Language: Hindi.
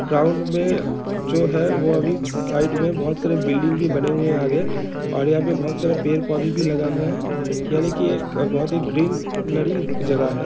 ग्राउंड मे जो है अभी साइड मे बोहोत सारे बिल्डिंग भी बने हुए है आगे और यहां पे बोहोत सारा पेड़-पौधे भी लगाए हुआ है यानि के एक बोहोत ही ग्रीन नरी जगह है ।